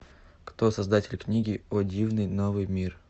кто создатель книги о дивный новый мир